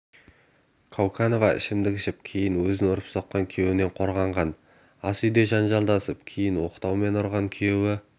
кауканова ішімдік ішіп кейін өзін ұрып-соққан күйеуінен қорғанған ас үйде жанжалдасып кейін оқтаумен ұрған күйеуі